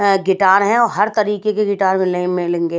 अगिटार हैं और हर तरीके के गिटार मिलले मिलेंगे।